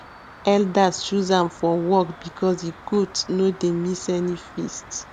elders choose am for the work because e goat no dey miss any feast